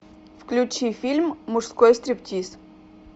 включи фильм мужской стриптиз